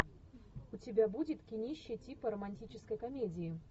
у тебя будет кинище типа романтической комедии